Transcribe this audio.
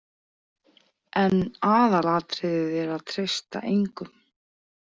En aðalatriðið er að treysta engum.